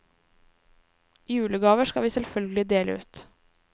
Julegaver skal vi selvfølgelig dele ut.